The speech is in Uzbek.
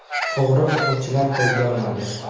O‘g‘ri o‘quvchilar qo‘lga olindi.